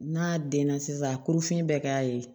N'a denna sisan a kolofiɲɛ bɛ k'a ye